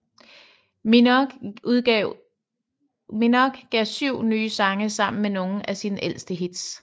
Minogue gav syv nye sange sammen med nogle af sine ældre hits